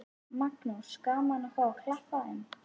Magnús: Gaman að fá að klappa þeim?